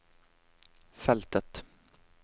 feltet